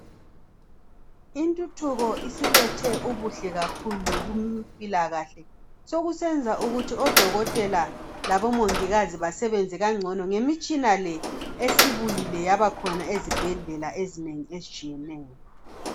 Intuthuko isilethe ubuhle kakhulu kumpilakahle, zokusenza ukuthi odokotela labomongikazi basebenze kangcono ngemitshina le esibuyile yabakhona ezibhedlela ezinengi ezitshiyeneyo.